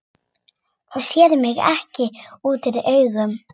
Það sér ekki útúr augum.